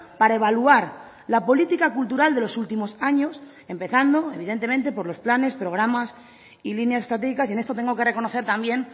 para evaluar la política cultural de los últimos años empezando evidentemente por los planes programas y líneas estratégicas y en esto tengo que reconocer también